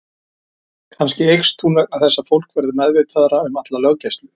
Kannski eykst hún vegna þess að fólk verður meðvitaðra um alla löggæslu.